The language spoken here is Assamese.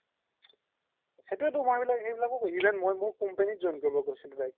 সেইতোয়ে তো মই even মোৰ company ত join কৰিব কৈছিলো তাইক